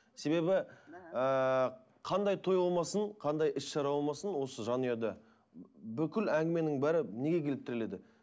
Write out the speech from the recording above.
себебі ыыы қандай той болмасын қандай іс шара болмасын осы жанұяда бүкіл әңгіменің бәрі неге келіп тіреледі